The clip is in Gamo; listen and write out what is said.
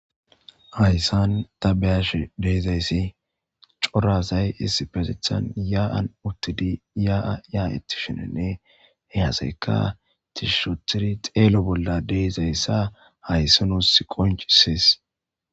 Hayssan ta beyash deezayssi corasay isti petethan yaaan uttidi yaaa yaayetti shinenne heeaseka tishishotiri xeelo bolla deezayssa hayssa nuuss qoncisis.